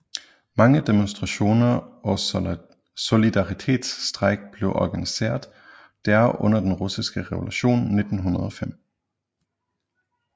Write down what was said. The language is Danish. Mange demonstrationer og solidaritetsstrejker blev organiseret der under Den Russiske Revolution 1905